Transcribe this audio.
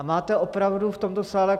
A máte opravdu v tomto sále.